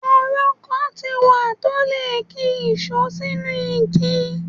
Èrọ kan ti wá tó lè ki ìṣó sínú igi.